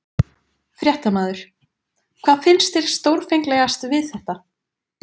Fréttamaður: Hvað finnst þér stórfenglegast við þetta?